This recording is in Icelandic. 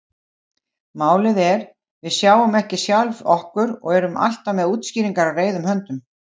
Málið er: Við sjáum ekki sjálf okkur og erum alltaf með útskýringar á reiðum höndum.